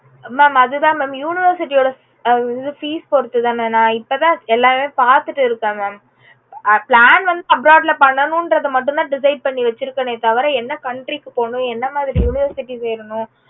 mam அதுதா mam university ஓட fees பொறுத்து தா ந இப்போ தா எல்லாமே பாத்துட்டு இருக்கேன் mam plan வந்து abroad ல பண்ணணும்கறது மட்டும் தா decide பண்ணி வெச்சிருக்கேன் தவற என்ன country க்கு போகணும் என்ன மாதிரி university சேரனும்